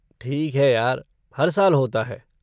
ठीक है यार, हर साल होता है।